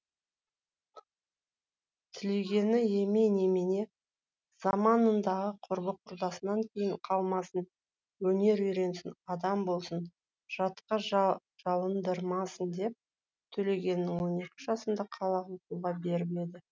тілегені емей немене заманындағы құрбы құрдасынан кейін қалмасын өнер үйренсін адам болсын жатқа жалындырмасын деп төлегенін он екі жасында қалаға оқуға беріп еді